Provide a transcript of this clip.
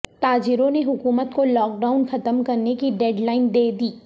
تاجروں نے حکومت کو لاک ڈائون ختم کرنے کی ڈیڈ لائن دے دی